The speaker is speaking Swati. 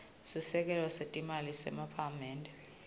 seselekelelo setimali sasemaphandleni